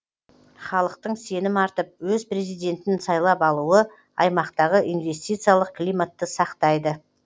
халықтың сенім артып өз президентін сайлап алуы аймақтағы инвестициялық климатты сақтап